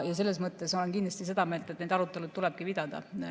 Ma olen kindlasti seda meelt, et neid arutelusid tulebki pidada.